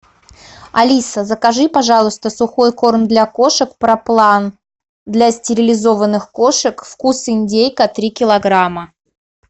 алиса закажи пожалуйста сухой корм для кошек проплан для стерилизованных кошек вкус индейка три килограмма